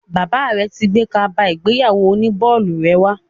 Bàbá rẹ ti gbé kaba ìgbéyàwó oní bọ́ọ̀lù rẹ wá.